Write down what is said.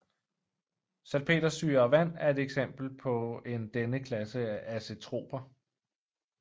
Salpetersyre og vand er et eksempel på en denne klasse af azetroper